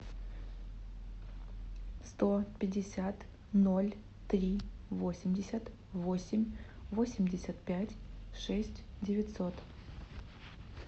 сто пятьдесят ноль три восемьдесят восемь восемьдесят пять шесть девятьсот